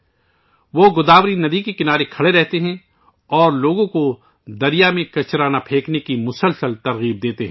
وہ گوداوری دریا کے پاس کھڑے رہتے ہیں اور لوگوں کو لگاتار دریا میں کوڑا کرکٹ نہ پھینکنے کی ترغیب دیتے رہتے ہیں